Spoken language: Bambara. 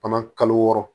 Fana kalo wɔɔrɔ